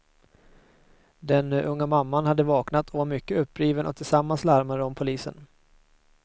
Den unga mamman hade vaknat och var mycket uppriven och tillsammans larmade de polisen.